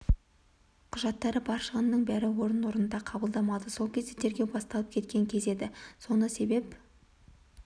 құжаттары бар шығынның бәрі орын-орнында қабылдамады сол кезде тергеу басталып кеткен кез еді соны себеп